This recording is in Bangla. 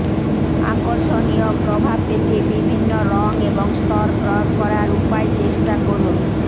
আকর্ষণীয় প্রভাব পেতে বিভিন্ন রং এবং স্তর প্রয়োগ করার উপায় চেষ্টা করুন